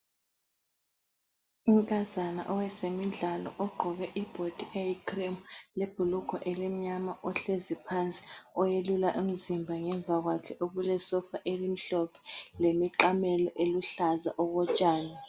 Inkazana owezimidlalo ogqoke ibhodi eyi cream. Lebhulugwe elimnyama ohlezi phansi oyelula umzimba ngemva kwakhe okulesofa elimhlophe, lemiqamelo eluhlaza okotshani.